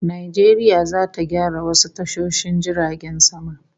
Najeriya zata gyara wasu tashoshin jiragen sama